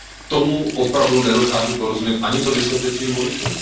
Tomu opravdu nedokážu porozumět, ani to vysvětlit svým voličům.